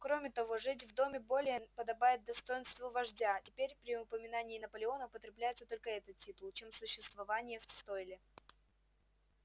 кроме того жить в доме более подобает достоинству вождя теперь при упоминании наполеона употреблялся только этот титул чем существование в стойле